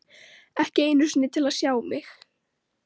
Ekki einu sinni til að sjá mig.